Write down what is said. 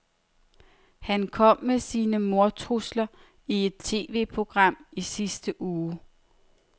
Han kom med sine mordtrusler i et TVprogram i sidste uge.